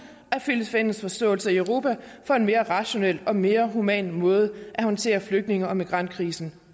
at finde fælles forståelse i europa for en mere rationel og mere human måde at håndtere flygtninge og migrantkrisen